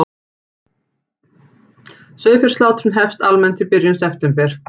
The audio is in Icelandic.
Sauðfjárslátrun hefst almennt í byrjun september